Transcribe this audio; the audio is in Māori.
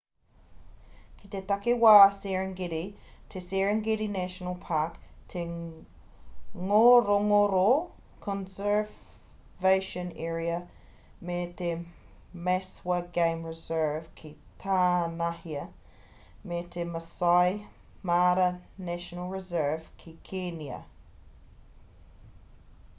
kei te takiwā serengeti te serengeti national park te ngorongoro conservation area me te maswa game reserve ki tānahia me te maasai mara national reserve ki kēnia